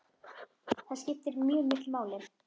Það skipti mjög miklu máli.